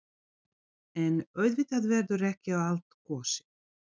En auðvitað verður ekki á allt kosið.